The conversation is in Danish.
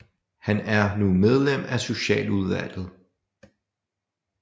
Han er nu medlem af Socialudvalget